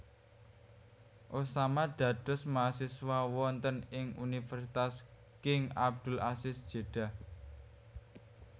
Osama dados mahasiswa wonten ing Universitas King Abdul Aziz Jeddah